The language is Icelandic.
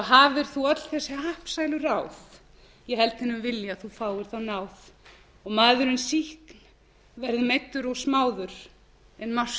hafir þú öll þessi happsælu ráð ég held þínum vilja þú fáir þá náð og maðurinn síst verði meiddur og smáður en